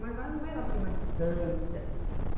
Mas lá não era assim uma distância.